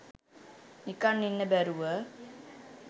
නිකන් ඉන්න බැරුව